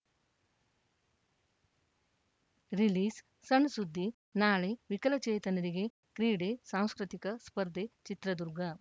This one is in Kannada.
ರಿಲೀಸ್‌ಸಣ್‌ಸುದ್ದಿ ನಾಳೆ ವಿಕಲಚೇತನರಿಗೆ ಕ್ರೀಡೆ ಸಾಂಸ್ಕೃತಿಕ ಸ್ಪರ್ಧೆ ಚಿತ್ರದುರ್ಗ